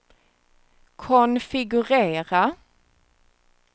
konfigurera